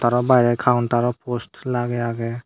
arw barey kauntaro post lagey agey.